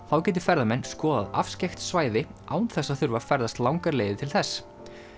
þá geti ferðamenn skoðað afskekkt svæði án þess að þurfa ferðast langar leiðir til þess